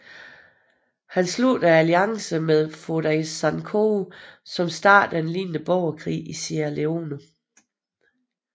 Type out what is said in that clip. Han sluttede alliance med Foday Sankoh som startede en lignende borgerkrig i Sierra Leone